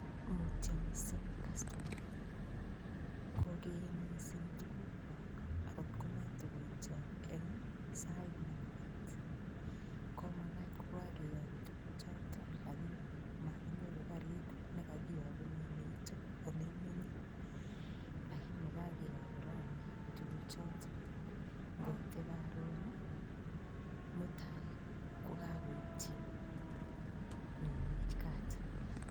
Mutyo missing customa kogen missng tukukyok en sait nemakat komakat kokokeyoku tukuk choton lakini mokinyoru karit nekakiyokunen neitu ole imenyee, lakini kokiyoku raini tukuk choton nkoite korun nii mutai kokokoityin nyowey kat.